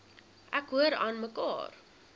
ek hoor aanmekaar